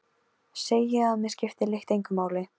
Segi að mig skipti lykt engu máli.